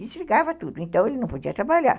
Desligava tudo, então ele não podia trabalhar.